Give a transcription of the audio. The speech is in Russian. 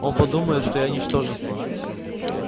он подумает что я ничтожество